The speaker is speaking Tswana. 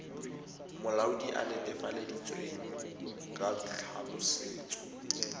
molaodi a netefaleditsweng ka tlhaolosetso